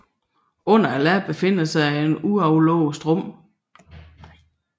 Under ladet befinder sig et aflåseligt rum